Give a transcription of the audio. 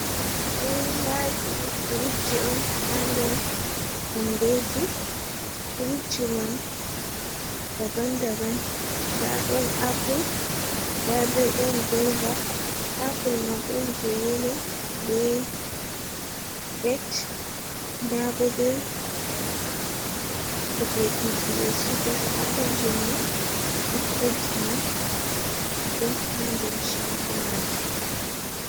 Durowaaji furutji on ha nder kondoji, furutji man daban daban, nda ɗon appul nda be ɗon goiva, appul man ɗon jei yelo be ret, nda bo be kujejii ɓe sigata appulji man basketji man jo ha nder shaago majum.